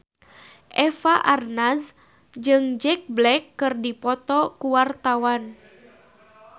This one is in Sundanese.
Eva Arnaz jeung Jack Black keur dipoto ku wartawan